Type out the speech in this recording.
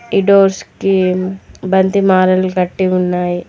ఈ డోర్స్ కి బంతి మాలలు కట్టి ఉన్నాయి.